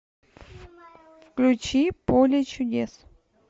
включи поле чудес